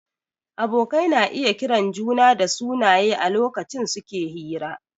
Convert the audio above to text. Abokai na iya kiran juna dasunaye a lokacin suke hira